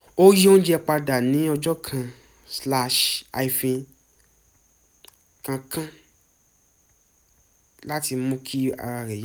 ó yí oúnjẹ padà ní ọjọ́ kan-kankan láti mú kí ara rẹ̀ yá